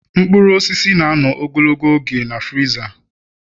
Mkpụrụ osisi na-anọ ogologo oge na friza